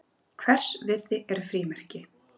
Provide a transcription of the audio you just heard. Hvers virði eru frímerki?